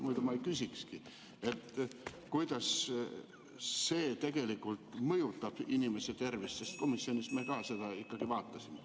Muidu ma ei küsikski, kuidas see mõjutab inimese tervist, sest komisjonis me seda ka ikkagi vaatasime.